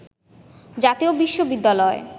জাতীয় বিশ্ববিদ্যালয়